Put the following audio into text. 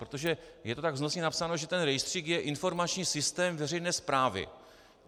Protože je to tak vznosně napsáno, že ten rejstřík je informační systém veřejné správy.